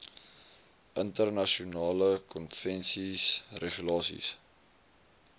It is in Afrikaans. internasionale konvensies regulasies